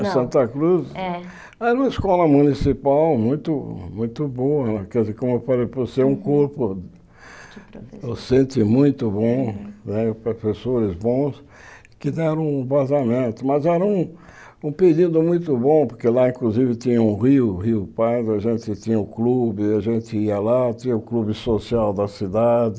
A Santa Cruz É era uma escola municipal muito muito boa, quer dizer, como eu falei para você, um corpo, docente muito bom né, professores bons que deram um vazamento, mas era um pedido muito bom, porque lá, inclusive, tinha um rio, o Rio Pardo, a gente tinha um clube, a gente ia lá, tinha o clube social da cidade,